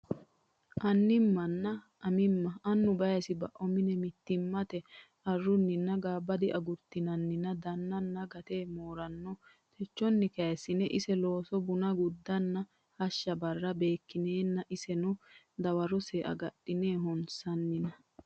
anni mma nenna amimma Annu Baysibao mini mitiimmate arru nenni gaabbadiagurtinannina daannanni gate mooraano techonni kayissine ise looso buna guddanna hashsha barra beekkineenna iseno darawose agadhine honsannina !